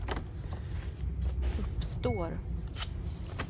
uppstår